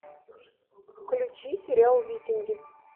включи сериал викинги